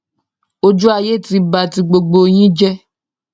ojú ayé ti ba ti gbogbo yín jẹ